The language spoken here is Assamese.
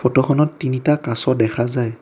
ফটো খনত তিনিটা কাছ দেখা যায়।